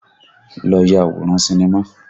Lọ ya àwòrán sinimá!